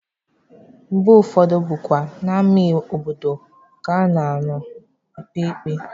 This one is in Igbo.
Mgbe ụfọdụ bụkwa n'ama obodo ka a na-anọ ekpe ikpe.